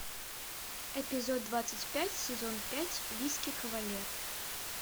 эпизод двадцать пять сезон пять виски кавалер